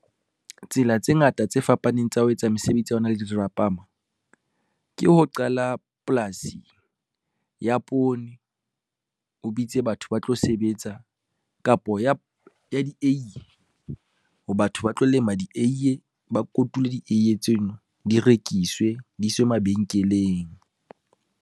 Tsela tse ngata tse fapaneng tsa ho etsa mesebetsi ya hona le di dirapama, ke ho qala polasi ya poone, o bitse batho ba tlo sebetsa, kapo ya dieiye ho batho ba tlo lema dieiye, ba kotule dieiye tseno di rekiswe, di iswe mabenkeleng.